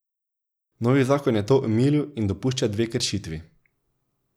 Novi zakon je to omilil in dopušča dve kršitvi.